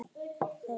Það var þeim hollt.